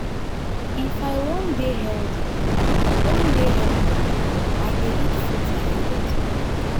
if i wan dey healthy wan dey healthy i dey eat fruits and yogurt.